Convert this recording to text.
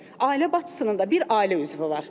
Ailə başçısının da bir ailə üzvü var.